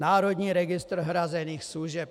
Národní registr hrazených služeb.